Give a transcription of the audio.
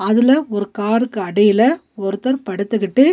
அதுல ஒரு காருக்கு அடியில ஒருத்தர் படுத்துகிட்டு--